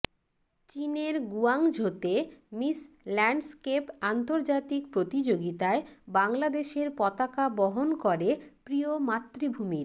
চীনের গুয়াংঝোতে Miss Landscape আন্তর্জাতিক প্রতিযোগিতায় বাংলাদেশের পতাকা বহন করে প্রিয় মাতৃভূমির